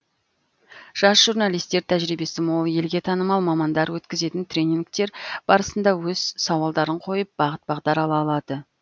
жас журналистер тәжірибесі мол елге танымал мамандар өткізетін тренингтер барысында өз сауалдарын қойып бағыт бағдар ала алады